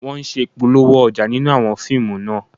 Wọ́n ṣe Ìpolówó ọjà nínú àwọn fíìmù náà